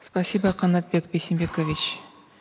спасибо канатбек бейсенбекович